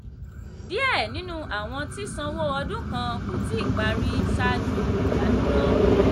díẹ̀ nínú àwọn tí sanwó ọdún kàn kó tí parí ṣáájú ìdádúró.